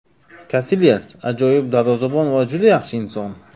Kasilyas ajoyib darvozabon va juda yaxshi inson.